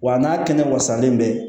Wa n'a kɛnɛ ma sanlen bɛ